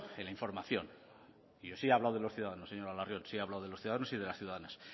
en la información y yo sí he hablado de los ciudadanos señora larrion sí he hablado de los ciudadanos y las ciudadanas